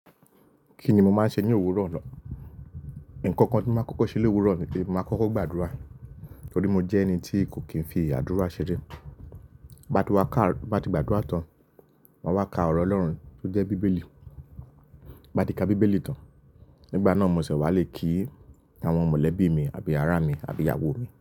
Kíni mo máa ń ṣe ní òwúrọ̀ lọ? Ǹkan kan tí mo máa ń kọ́kọ́ ṣe lówúrọ̀ ni pé mo máa kọ́kọ́ gbàdúrà. Nítorí mo jẹ́ ẹni tí kò kí n fi àdúrà ṣeré. Bá ti wá ká, bá ti gbàdúrà tán, máa wá ka ọ̀rọ̀ Ọlọ́run tó jẹ́ Bíbélì. Bá ti ka Bíbélì tán, nígbà náà mo ṣẹ wá lè kí àwọn mọ̀lẹ́bí mi àbí ará mi àbí ìyàwó mi.